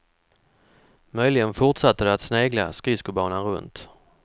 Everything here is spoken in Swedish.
Möjligen fortsatte de att snegla skridskobanan runt.